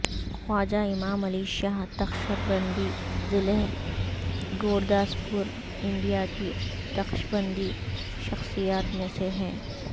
خواجہ امام علی شاہ نقشبندی ضلع گورداسپور انڈیا کی نقشبندی شخصیات میں سے ہیں